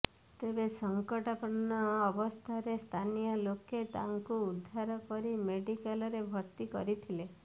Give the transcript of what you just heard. ତେବେ ସଂକଟାପନ୍ନ ଅବସ୍ଥାରେ ସ୍ଥାନୀୟ ଲୋକେ ତାଙ୍କୁ ଉଦ୍ଧାର କରି ମେଡିକାଲରେ ଭର୍ତ୍ତି କରିଥିଲେ